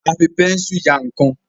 a fí Bẹ́ńsù yá nkán